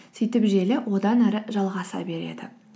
сөйтіп желі одан ары жалғаса береді